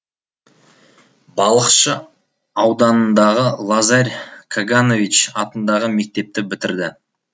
балықшы ауданындағы лазарь каганович атындағы мектепті бітірді